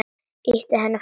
Ýti henni frá mér.